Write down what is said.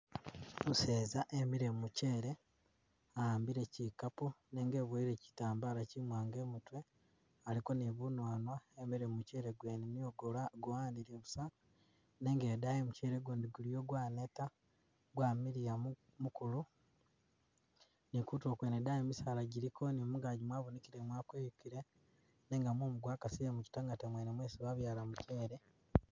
Umuseza wimile mumukyele, wa'ambile kyikapu nenga wibuwele kyitambala kyiwanga imutwe, aliko ni bunwanwa wemile mu mukyele gwene niyo gwanile busa, nenga idayi mukyele gundi guliyo gwaneta, gamiliya mukulu, ni kutulo kwene idayi misaala giliko ni mungagi mwabonekele mwakuyukile, nenga mumu gwakasile mukyitangata mwene mwesi babyala muchele.